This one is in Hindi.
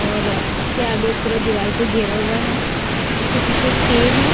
और उसके आगे पूरा दीवाल से घेरा हुआ है उसके पीछे एक पेड़ है।